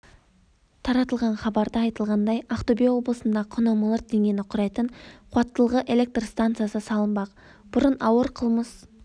таратылған хабарда айтылғандай ақтөбе облысында құны миллиард теңгені құрайтын қуаттылығы электр станциясы салынбақ бұрын ауыр қылмыс